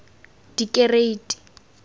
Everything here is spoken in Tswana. dikereiti